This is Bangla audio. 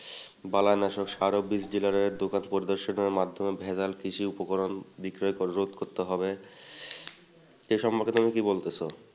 দকান পরিদর্সন্ ভেজাল কৃষি উপকরণ বিক্রয় অবরোধ করতে হবে এ সম্বন্ধে তুমি কি বলতেছ?